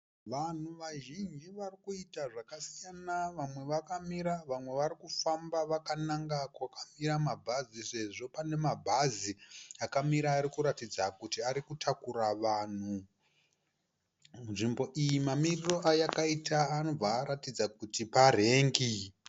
Vanhu vazhinji varikuita zvakasiyana vamwe vakamira vamwe vari kufamba vakananga kwakamira mabhazi sezvo pane mabhazi akamira arikuratidza kuti ari kutakura vanhu. Nzvimbo iyi mamiriro ayakaita anobva aratidza kuti parengi.